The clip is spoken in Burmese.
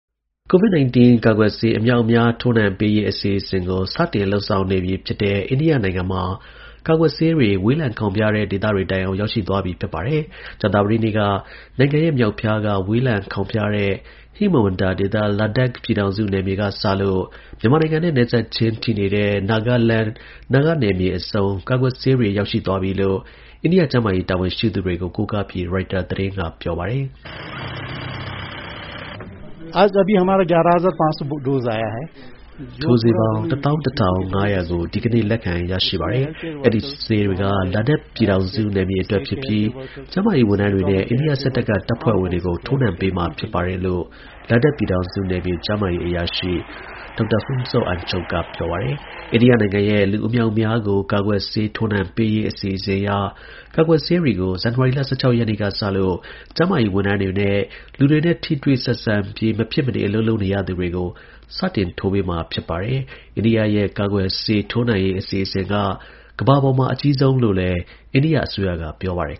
COVID-19 ကာကွယ်ဆေး အမြောက်အမြား ထိုးနှံပေးရေး အစီအစဉ်ကို စတင်လုပ်ဆောင်နေပြီဖြစ်တဲ့ အိန္ဒိယနိုင်ငံမှာ ကာကွယ်ဆေးတွေ ဝေးလံခေါင်းဖျားတဲ့ ဒေသတွေတိုင်အောင် ရောက်ရှိသွားပြီ ဖြစ်ပါတယ်။ ကြာသပတေးနေ့က နိုင်ငံရဲ့ မြောက်ဖျားက ဝေးလံခေါင်ဖျားတဲ့ ဟိမဝန္တာဒေသ Ladakh ပြည်ထောင်စုနယ်မြေကစလို့ မြန်မာနိုင်ငံနဲ့ နယ်စပ်ချင်းထိနေတဲ့ Nagaland နာဂနယ်မြေအဆုံး ကာကွယ်ဆေးတွေ ရောက်ရှိသွားပြီလို့ အိန္ဒိယ ကျန်းမာရေး တာဝန်ရှိသူတွေကို ကိုကားပြီး ရိုက်တာသတင်းက ပြောပါတယ်။ “ထိုးဆေးပေါင်း ၁၁,၅၀၀ ကို ဒီကနေ့ လက်ခံရရှိပါတယ်။ အဲဒီဆေးတွေက Ladakh ပြည်ထောင်စုနယ်မြေအတွက်ဖြစ်ပြီး ကျန်းမာရေးဝန်ထမ်းတွေနဲ့ အိန္ဒိယစစ်တပ်က တပ်ဖွဲ့ဝင်တွေကို ထိုးနှံပေးမှာဖြစ်တယ်” လို့ Ladakh ပြည်ထောင်စုနယ်မြေ ကျန်းမာရေးအရာရှိ Dr. Phuntsog Angchuk က ပြောပါတယ်။ အိန္ဒိယနိုင်ငံရဲ့ လူအမြောက်အမြေားကို ကာကွယ်ဆေး ထိုးနှံပေးရေး အစီအစဉ်အရ ကာကွယ်ထိုးဆေးတွေကို ဇန်နဝါရီလ ၁၆ ရက် စနေနေ့ကစလို့ ကျန်းမာရေးဝန်ထမ်းတွေနဲ့ လူတွေနဲ့ ထိတွေ့ဆက်ဆံပြီး မဖြစ်မနေ အလုပ်လုပ်နေရသူတွေကို စတင်ထိုးပေးမှာ ဖြစ်ပါတယ်။ အိန္ဒိယရဲ့ ကာကွယ်ဆေးထိုးနှံရေး အစီအစဉ်က ကမ္ဘာပေါ်မှာ အကြီးမားဆုံးလို့လည်း အိန္ဒိယအစိုးရက ပြောပါတယ်